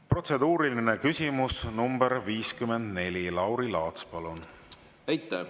Protseduuriline küsimus nr 54, Lauri Laats, palun!